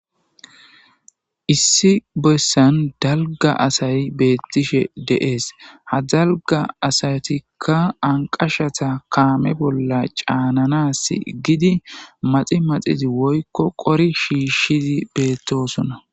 Issi bessan dalga asay beettishe de'es. Ha dalga asatikka anqashata kaame bolla caananas gidi maxi maxi woykko qori shiishshidi beettosona.